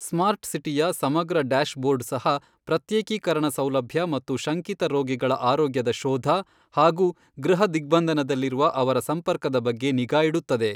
Smart ಸಿಟಿಯ ಸಮಗ್ರ dashboard ಸಹ ಪ್ರತ್ಯೇಕೀಕರಣ ಸೌಲಭ್ಯ ಮತ್ತು ಶಂಕಿತ ರೋಗಿಗಳ ಆರೋಗ್ಯದ ಶೋಧ ಹಾಗೂ ಗೃಹ ದಿಗ್ಭಂದನದಲ್ಲಿರುವ ಅವರ ಸಂಪರ್ಕದ ಬಗ್ಗೆ ನಿಗಾ ಇಡುತ್ತದೆ.